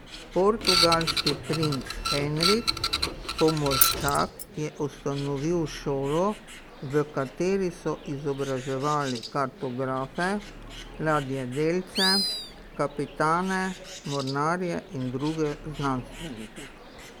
Portugalski princ Henrik Pomorščak je ustanovil šolo, v kateri so izobraževali kartografe, ladjedelce, kapitane, mornarje in druge znanstvenike.